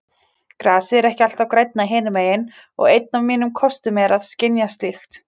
Grasið er ekki alltaf grænna hinumegin og einn af mínum kostum er að skynja slíkt.